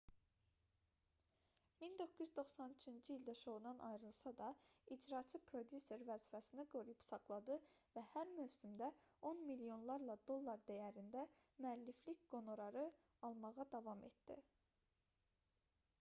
1993-cü ildə şoudan ayrılsa da icraçı prodüser vəzifəsini qoruyub saxladı və hər mövsümdə on milyonlarla dollar dəyərində müəlliflik qonorarı almağa davam etdi